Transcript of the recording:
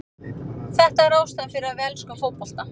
Þetta er ástæðan fyrir að við elskum fótbolta.